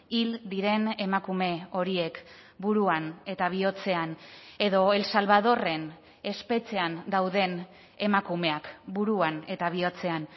hil diren emakume horiek buruan eta bihotzean edo el salvadorren espetxean dauden emakumeak buruan eta bihotzean